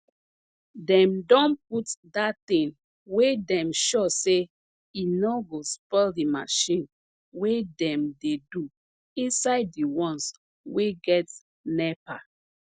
dem don put dat thing wey dem sure say e no go spoil de marchin wey dem dey do inside de ones wey get nepa